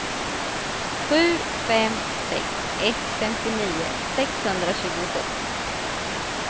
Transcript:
sju fem sex ett femtionio sexhundratjugosju